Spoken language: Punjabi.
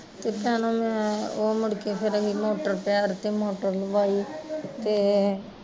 ਤੇ ਚੱਲ ਮੈਂ ਓਹ ਮੁੜ ਕੇ ਫਿਰ ਮੈਂ ਪੈਰ ਤੇ ਮੋਟਰ ਲਵਾਈ ਤੇ